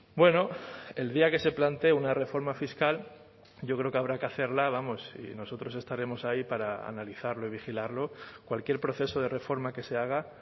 bueno el día que se plantee una reforma fiscal yo creo que habrá que hacerla vamos y nosotros estaremos ahí para analizarlo y vigilarlo cualquier proceso de reforma que se haga